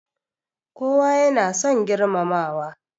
Kowa ya na son girmamawa